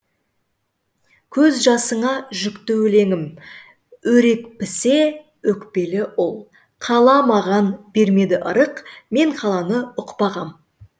көз жасыңа жүкті өлеңім өрекпісе өкпелі ұл қала маған бермеді ырық мен қаланы ұқпағам